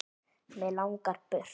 Mig langar burt.